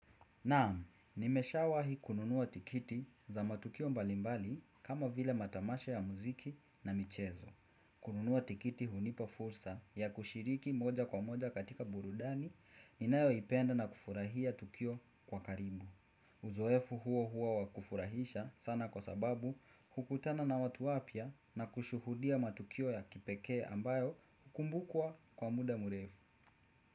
Naam, nimesha wahi kununua tikiti za matukio mbalimbali kama vile matamasha ya muziki na michezo. Kununua tikiti hunipa fursa ya kushiriki moja kwa moja katika burudani ninayo ipenda na kufurahia tukio kwa karibu. Uzoefu huo huo wa kufurahisha sana kwa sababu hukutana na watu wapya na kushuhudia matukio ya kipeke ambayo hukumbukua kwa muda murefu.